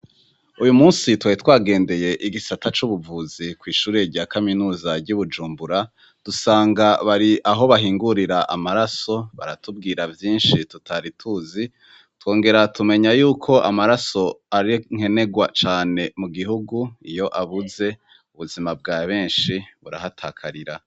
Uyumunsi twari twagendeye igisata c'ubuvuzi kw'ishure rya kaminuza ry'ibujumbura dusanga bari aho bahingurira amaraso baratubwira vyinshi tutari tuzi twongera tumenya yuko amaraso ari nkenegwa cane. Mugihugu iyo abuze ubuzima bwa benshi burahatakarira.